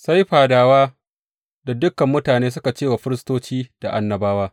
Sai fadawa da dukan mutane suka ce wa firistoci da annabawa.